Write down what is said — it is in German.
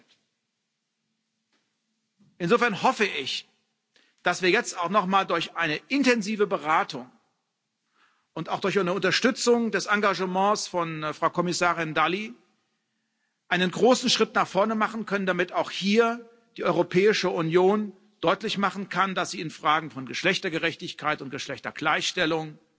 10 Insofern hoffe ich, dass wir jetzt auch nochmal durch eine intensive Beratung und auch durch eine Unterstützung des Engagements von Frau Kommissarin Dalli einen großen Schritt nach vorne machen können, damit die Europäische Union auch hier deutlich machen kann, dass sie in Fragen von Geschlechtergerechtigkeit und Geschlechtergleichstellung